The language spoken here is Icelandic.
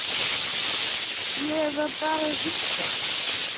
Ég var bara að hugsa.